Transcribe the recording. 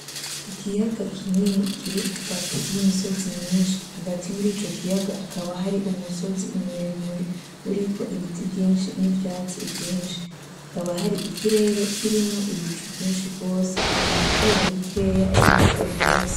Ikiyaga kinini kiri hagati y'imisozi myinshi, hagati muri ico kiyaga hakaba hari umusozi muremure uriko ibiti vyinshi n'ivyatsi vyinshi, hakaba hari ikirere kirimwo ibicu vyinshi gose. Hari izuba rikeyi ririko birarasa.